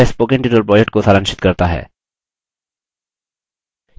यह spoken tutorial project को सारांशित करता है